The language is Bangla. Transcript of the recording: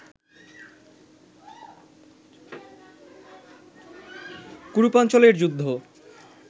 কুরুপাঞ্চালের যুদ্ধ